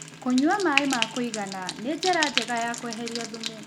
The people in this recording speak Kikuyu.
Kũnyua maĩ ma kũĩgana nĩ njĩra njega ya kweherĩa thũmũ